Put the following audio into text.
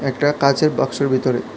একটা কাচের বাক্সের ভিতরে।